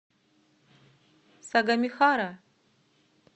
сагамихара